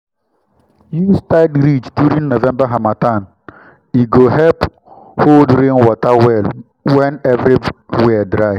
use tied ridge during november harmattan—e go help hold rain water well when everywhere dry.